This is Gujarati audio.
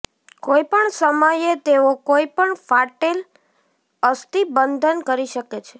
કોઈપણ સમયે તેઓ કોઇ પણ ફાટેલ અસ્થિબંધન કરી શકે છે